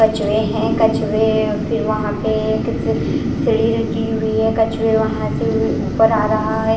कछुए हैं कछुए फिर वहां पे एक सीढ़ी रखी हुई है कछुए वहां से ऊपर आ रहा है।